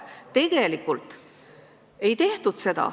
Tegelikult seda ei tehtud.